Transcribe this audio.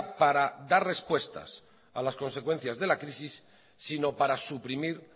para dar respuestas a las consecuencias de la crisis sino para suprimir